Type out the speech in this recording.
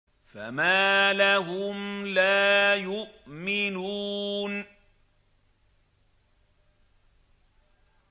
فَمَا لَهُمْ لَا يُؤْمِنُونَ